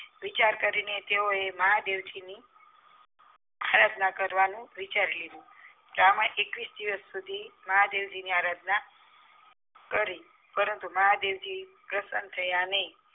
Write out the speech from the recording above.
વિચાર કરીને તેઓએ મહાદેવજી ની આરાધના કરવા નું વિચારી લીધું બ્રાહ્મણે એકવીશ દિવસ સુધી મહાદેવજી ની આરાધના કરી પરંતુ મહાદેવજી પ્રસ્સન્ન થયા નહિ